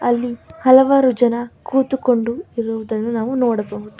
ಅಲ್ಲಿ ಹಲವಾರು ಜನ ಕೂತುಕೊಂಡು ಇರುವುದನ್ನು ನಾವು ನೋಡಬಹುದು.